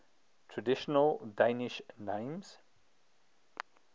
traditional danish names